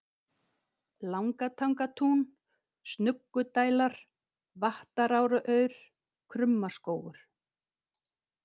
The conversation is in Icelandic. Langatangatún, Snuggudælar, Vattaráraur, Krummaskógur